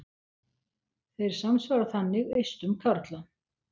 Þeir samsvara þannig eistum karla.